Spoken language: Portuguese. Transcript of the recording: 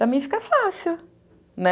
Para mim fica fácil, né?